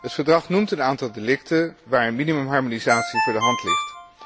Het Verdrag noemt een aantal delicten waar een minimumharmonisatie voor de hand ligt.